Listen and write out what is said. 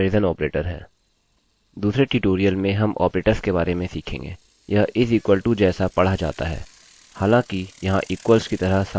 यह is equal to जैसा पढ़ा जाता है हालाँकि यह equals की तरह समान नहीं है